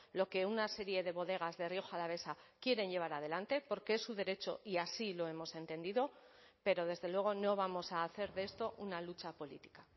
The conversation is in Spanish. lo que una serie de bodegas de rioja alavesa quieren llevar adelante porque es su derecho y así lo hemos entendido pero desde luego no vamos a hacer de esto una lucha política